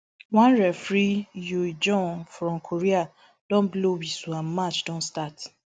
one referee yu jeong from korea don blow whistle and match don start